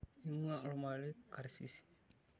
Keing'uaaa olmarei karsisi.